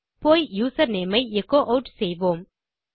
போய் யூசர்நேம் ஐ echo add செய்வோம்